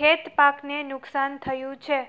ખેતપાકને નુકસાન થયુ છે